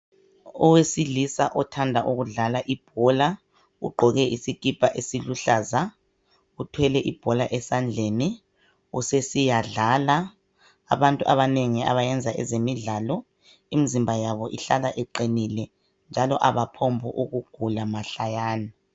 Owesilisa othanda ukudlala ibhola ugqoke isikipa esiluhlaza uthwele ibhola esandleni usesiyadlala. Abantu abanengi abayenza ezemidlalo imizimba yabo ahlala iqinile njalo abaguli mahlayana.